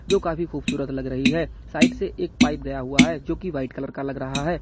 जो काफी खूबसूरत लग रही है साइड से एक पाइप गया हुआ है जोकि वाइट कलर का लग रहा है।